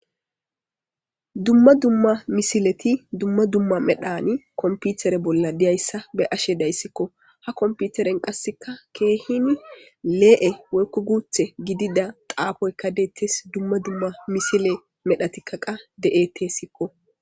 dumma dumma misileti dumma dumma medhani komputere bolla diyayssa be ashe dayssikko ha komputeren qasseka keehini lee7e woykku guuthe gidida xaafoyka deettes dumma dumma misile medha tikkaqa de7etesikko